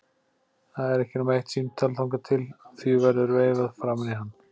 Það er ekki nema eitt símtal þangað til því verður veifað framan í hann.